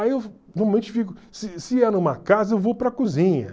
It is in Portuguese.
Aí eu normalmente fico... Se se é numa casa, eu vou para a cozinha.